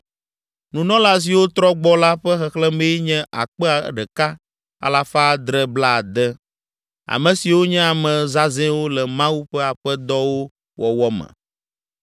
Nunɔla siwo trɔ gbɔ la ƒe xexlẽmee nye akpe ɖeka, alafa adre blaade (1,760). Ame siwo nye ame zãzɛwo le Mawu ƒe aƒe dɔwo wɔwɔ me.